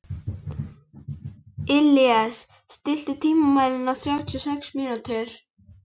Illíes, stilltu tímamælinn á þrjátíu og sex mínútur.